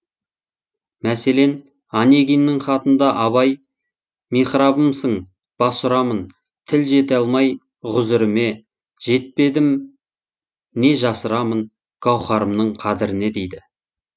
мәселен онегиннің хатында абай михрабымсың бас ұрамын тіл жете алмай ғүзіріме жетпедім не жасырамын гауһарымның қадіріне дейді